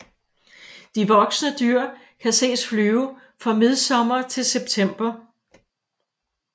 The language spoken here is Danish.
De voksne dyr kan ses flyve fra midsommer til september